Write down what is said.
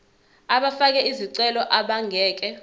abafake izicelo abangeke